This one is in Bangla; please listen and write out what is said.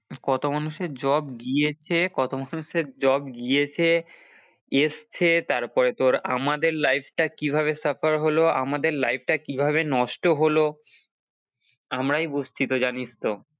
কত মানুষের job গিয়েছে, কত মানুষের job গিয়েছে এসেছে তারপর তোর আমাদের life টা কিভাবে suffer হলো আমাদের life টা কিভাবে নষ্ট হলো আমরাই বুঝছি তো জানিস তো।